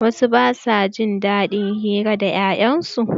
Wasu ba su jin daɗin hira da 'ya'yan su.